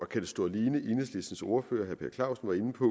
kan stå alene enhedslistens ordfører herre per clausen var inde på